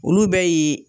Olu bɛ ye